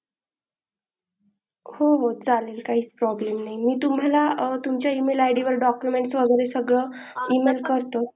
हो हो चालेल काहीच problem नाही मी तुम्हाला तुमच्या email id वर डाक्युमेंट वगेरे सगळ email करतोच.